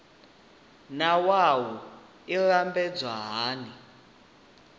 naa wua i lambedzwa hani